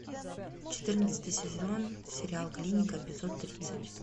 четырнадцатый сезон сериал клиника эпизод тридцать